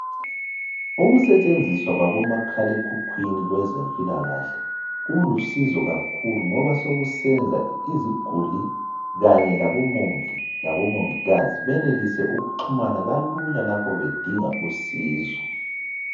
Ukusetshenziswa kwabomakhalaekhukwini kwezempilakahle kulusizo kakhulu ngoba sokusenza iziguli Kanye labomongi labomongikazi benelise ukuxhumana kalula lapho bedinga usizo.